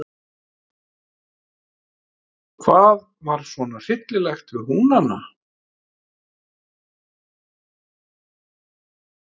Hvað var svona hryllilegt við Húnana?